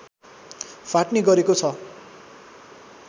फाट्ने गरेको छ